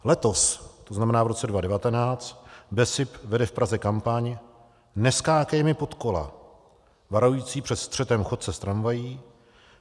Letos, to znamená v roce 2019, BESIP vede v Praze kampaň Neskákej mi pod kola, varující před střetem chodce s tramvají.